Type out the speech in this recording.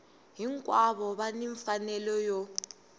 hinkwavo va ni mfanelo yo